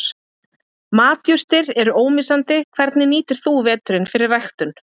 Matjurtir eru ómissandi Hvernig nýtir þú veturinn fyrir ræktun?